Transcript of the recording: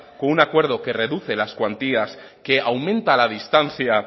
con un acuerdo que reduce las cuantías que aumenta la distancia